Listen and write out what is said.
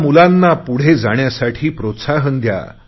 त्या मुलांना पुढे जाण्यासाठी प्रोत्साहन द्या